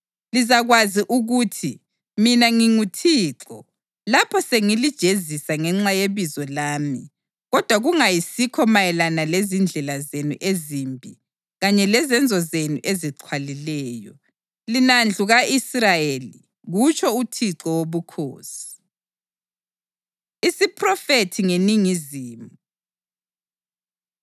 Lizakwazi ukuthi mina nginguThixo lapho sengilijezisa ngenxa yebizo lami kodwa kungayisikho mayelana lezindlela zenu ezimbi kanye lezenzo zenu ezixhwalileyo, lina ndlu ka-Israyeli, kutsho uThixo Wobukhosi.’ ” Isiphrofethi Ngeningizimu